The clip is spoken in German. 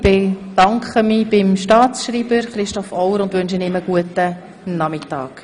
Ich bedanke mich bei Herrn Staatsschreiber Christoph Auer und wünsche ihm einen schönen Nachmittag.